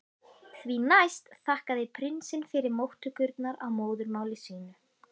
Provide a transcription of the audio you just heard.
Því næst þakkaði prinsinn fyrir móttökurnar á móðurmáli sínu.